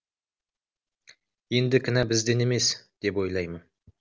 енді кінә бізден емес деп ойлаймын